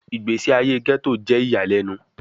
Igbesi aye Ghetto jẹ iyalẹnu